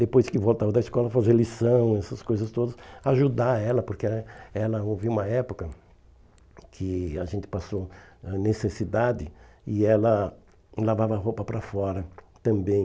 Depois que voltava da escola, fazer lição, essas coisas todas, ajudar ela, porque né ela houve uma época que a gente passou necessidade e ela lavava a roupa para fora também.